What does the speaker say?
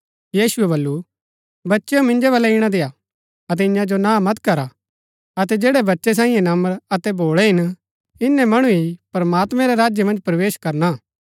यीशुऐ बल्लू बच्चेओ मिन्जो बलै ईणा देय्आ अतै ईयां जो ना मत करा अतै जैड़ै बच्चै सांईये नम्र अतै भोळै हिन इन्‍नै मणु ही प्रमात्मैं रै राज्य मन्ज प्रवेश करना